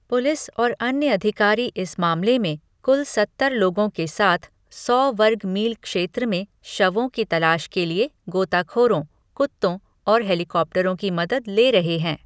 Police और अन्य अधिकारी इस मामले में कुल सत्तर लोगों के साथ सौ वर्ग मील क्षेत्र में शवों की तलाश के लिए गोताखोरों, कुत्तों और हेलीकॉप्टरों की मदद ले रहे हैं।